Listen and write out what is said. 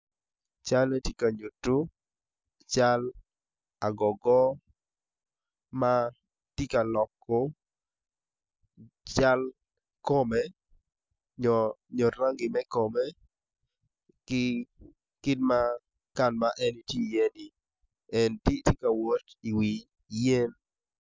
Calle tye ka nyuto cal agogo man tye bongi gomci ki latere ma kitweyo i kome med ki koti ma kiruku ki kanyu kacel ki kit ma ka ma en tye iye ni tye ka wot i wi yen.